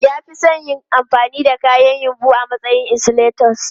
Ya fi son yin amfani da kayan yumbu a matsayin insulators.